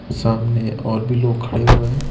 सामने और भी लोग खड़े हुए हैं।